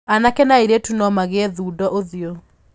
Anake na airĩtu no magĩe thundo ũthiũ.